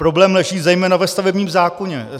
Problém leží zejména ve stavebním zákoně.